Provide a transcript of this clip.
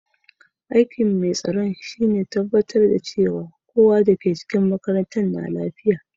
Aiki'n mai tsaron shine ya tabatar cewa kowa da ke cikin makarantan na lafiya.